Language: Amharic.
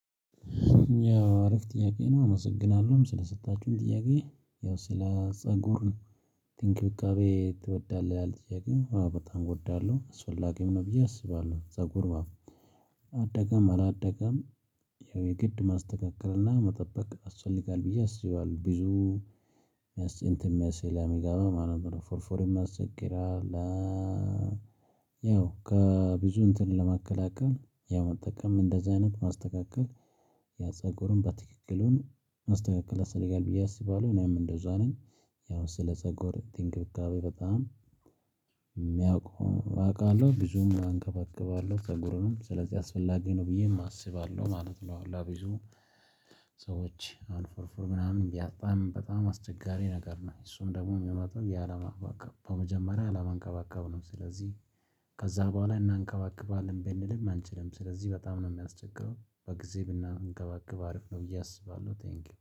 ያው አሪፍ ጥያቄ ነው? አመሰግናለሁ ስለሰጣችሁም ጥያቄ ያው ስለ ፀጉር እንክብካቤ ትወዳለህ ይላል ጥያቄው በጣም እወዳለሁ አስፈላጊም ነው ብዬ አስባለሁ ፀጉር አደገም አላደገም። ያው የግድ ማስተካከልና መጠበቅ ያስፈልጋል ብዬ አስባለሁ ብዙ እንትን ስለሚገባ ማለት ነው ፎረፎርም ያስቸግራል። እ ያው ከብዙ እንትን ለመከላከል ያው መጠቀም እንደዚህ አይነት ማስተካከል ያ ፀጉርን በትክክልም ማስተካከል ያስፈልጋል ብዬ አስባለሁ። እኔም እንደዛ ነኝ ያው ስለ ፀጉር እንክብካቤ በጣም የሚያውቁ አውቃለሁ ብዙም አንከባክባለሁ ፀጉርንም ስለዚህ አስፈላጊ ነው ብዬም አስባለሁ ማለት ነው። ለብዙ ሰዎች አሁን ፎረፎር ምናምን ቢያጣም በጣም አስቸጋሪ ነገር ነው እሱም ደግሞ የሚመጣው ያለማንከባከብ በመጀመሪያ ያለማንከባከብ ነው። ስለዚህ ከዛ በኋላ እናንከባክባለን ብንልም አንችልም ስለዚህ በጣም ነው የሚያስቸግረው በጊዜ ብናንከባክብ አሪፍ ነው ብዬ አስባለሁ። ቴንኪው